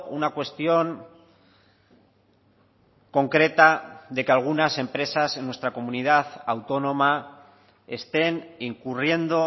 una cuestión concreta de que algunas empresas en nuestra comunidad autónoma estén incurriendo